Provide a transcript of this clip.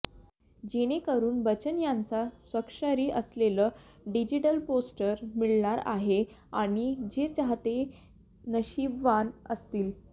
जेणेकरून बच्चन यांचं स्वाक्षरी असलेलं डिजिडल पोस्टर मिळणार आहे आणि जे चाहते नशीबवान असतील